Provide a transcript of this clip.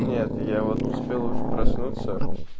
нет я вот успел уже проснуться